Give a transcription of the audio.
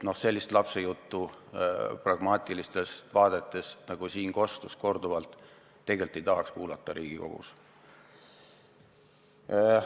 Sellist lapsejuttu pragmaatilistest vaadetest, nagu siin korduvalt kostis, tegelikult ei tahaks Riigikogus kuulata.